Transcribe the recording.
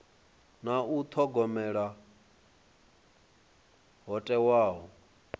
na u thogomela ho thewaho